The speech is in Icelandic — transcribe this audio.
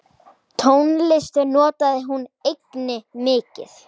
Tónlist notaði hún einnig mikið.